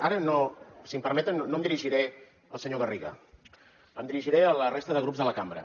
ara si m’ho permeten no em dirigiré al senyor garriga em dirigiré a la resta de grups de la cambra